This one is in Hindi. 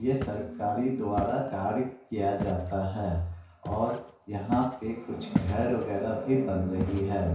ये सरकारी द्वारा कार्य किया जाता है और यहां पे कुछ घर वगरा भी बन रही है ।